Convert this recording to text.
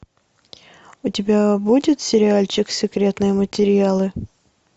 у тебя будет сериальчик секретные материалы